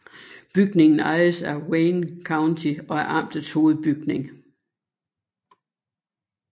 Bygningen ejes af Wayne County og er amtets hovedbygning